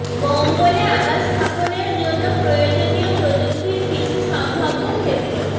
মঙ্গলে আবাস স্থাপনের জন্য প্রয়োজনীয় প্রযুক্তির কিছু সম্ভাব্য ক্ষেত্রঃ